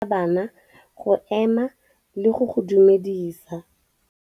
Morutabana o tla laela bana go ema le go go dumedisa.